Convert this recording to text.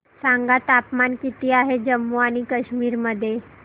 सांगा तापमान किती आहे जम्मू आणि कश्मीर मध्ये